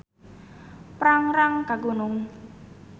Prangrang ka Gunung.